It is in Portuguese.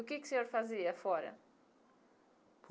O que que o senhor fazia fora?